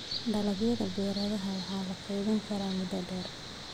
Dalagyada baradhada waa la kaydin karaa muddo dheer.